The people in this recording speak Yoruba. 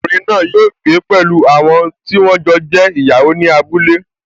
Obìnrin náà yóò gbé pẹ̀lú àwọn tí wọ́n jọ jẹ́ ìyàwó ní abúlé